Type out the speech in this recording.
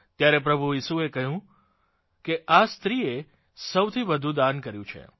ત્યારે પ્રભુ ઇસુએ કહ્યું કે આ સ્ત્રીએ સૌથી વધુ દાન કર્યું છે